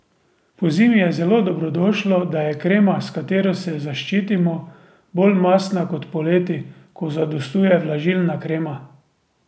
Pozimi je zelo dobrodošlo, da je krema, s katero se zaščitimo, bolj mastna kot poleti, ko zadostuje vlažilna krema.